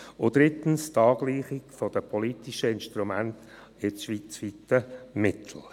Drittens: die Angleichung der politischen Instrumente an das schweizerische Mittel.